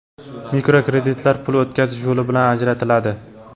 Mikrokreditlar pul o‘tkazish yo‘li bilan ajratiladi.